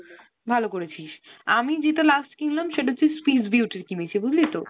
ভালো করেছিস। আমি যেটা last কিনলাম সেটা হচ্ছে Swiss Beauty র কিনেছি বুঝলি তো?